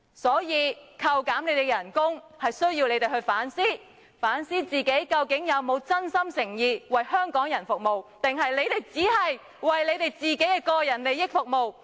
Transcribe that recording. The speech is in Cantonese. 所以，扣減你們的薪酬是希望你們反思，究竟自己有否真心誠意為香港人服務，還是你們只是為你們的個人利益服務？